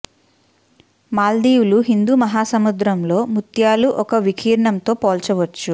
మాల్దీవులు హిందూ మహాసముద్రం లో ముత్యాలు ఒక వికీర్ణం తో పోల్చవచ్చు